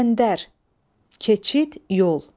Bəndər, keçid, yol.